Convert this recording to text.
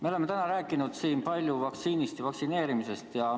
Me oleme täna rääkinud siin palju vaktsiinist ja vaktsineerimisest.